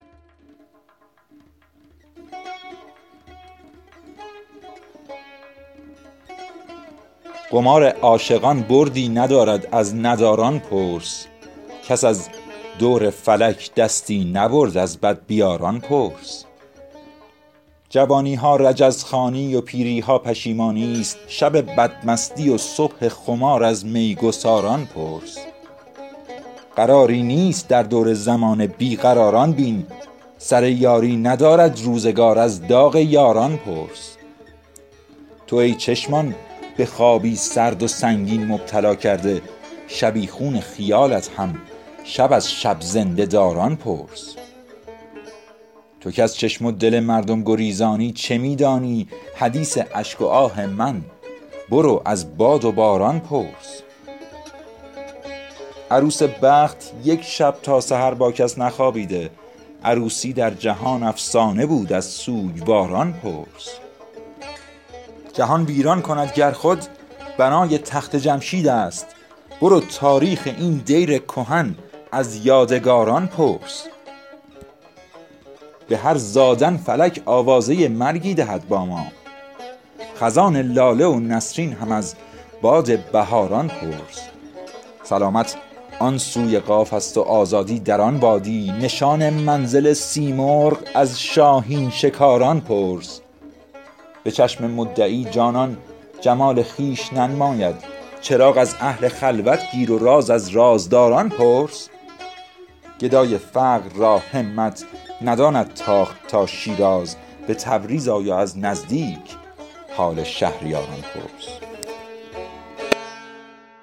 قمار عاشقان بردی ندارد از نداران پرس کس از دور فلک دستی نبرد از بدبیاران پرس جوانی ها رجزخوانی و پیری ها پشیمانی است شب بدمستی و صبح خمار از میگساران پرس قراری نیست در دور زمانه بی قراران بین سر یاری ندارد روزگار از داغ یاران پرس تو ای چشمان به خوابی سرد و سنگین مبتلا کرده شبیخون خیالت هم شب از شب زنده داران پرس تو کز چشم و دل مردم گریزانی چه می دانی حدیث اشک و آه من برو از باد و باران پرس عروس بخت یک شب تا سحر با کس نخوابیده عروسی در جهان افسانه بود از سوگواران پرس سر بشکسته هر صبح آفتاب از دره ای خیزد به کام ار توسن ایام دیدی از سواران پرس فلک با پشت خم دانی به گوش ما چه می گوید جوانا سرنوشت از سرگذشت روزگاران پرس به شاخ دشمنی یک میوه شیرین نمی روید برو باغ محبت کار و کار از کشت کاران پرس جهان ویران کند گر خود بنای تخت جمشید است برو تاریخ این دیر کهن از یادگاران پرس به هر خشتی که خود آیینه اسکندر و داراست شکست جان جم بین وز شکوه کامکاران پرس به شعر یادباد خواجه ام خاطر شبی خون شد سپاهان زنده کن وز زنده رود باغکاران پرس به هر زادن فلک آوازه مرگی دهد با ما خزان لاله و نسرین هم از باد بهاران پرس سلامت آن سوی قاف است و آزادی در آن وادی نشان منزل سیمرغ از شاهین شکاران پرس به چشم مدعی جانان جمال خویش ننماید چراغ از اهل خلوت گیر و راز از رازداران پرس گدای فقر را همت نداند تاخت تا شیراز به تبریز آی و از نزدیک حال شهریاران پرس